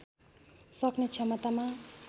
सक्ने क्षमतामा